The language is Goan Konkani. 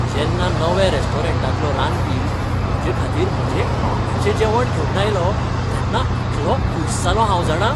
जेन्ना नव्या रेस्टॉरंटांतलो रांदपी म्हजेखातीर म्हजें आवडीचें जेवण घेवन आयलो तेन्ना इतलों खूश जालों हांव जाणा.